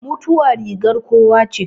Mutuwa rigar kowa che